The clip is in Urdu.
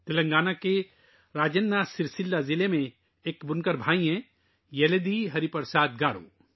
تلنگانہ کے راجنا سرسیلا ضلع میں ایک بنکر بھائی ہیں یلدھی ہری پرساد گارو